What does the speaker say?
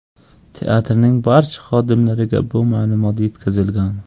Teatrning barcha xodimlariga bu ma’lumot yetkazilgan.